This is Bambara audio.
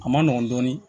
A ma nɔgɔn dɔɔnin